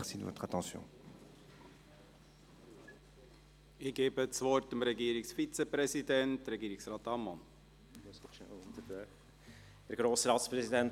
Ich gebe das Wort dem Regierungsvizepräsidenten, Regierungsrat Ammann.